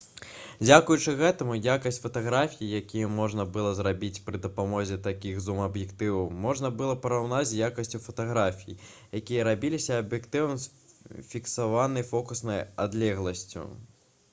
дзякуючы гэтаму якасць фатаграфій якія можна было зрабіць пры дапамозе такіх зум-аб'ектываў можна было параўнаць з якасцю фатаграфій якія рабіліся аб'ектывам з фіксаванай фокуснай адлегласцю